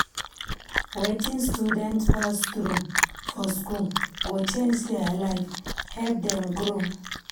Wetin students pass through for school go change their life, help dem grow.